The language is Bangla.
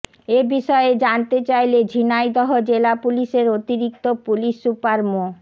এ বিষয়ে জানতে চাইলে ঝিনাইদহ জেলা পুলিশের অতিরিক্ত পুলিশ সুপার মো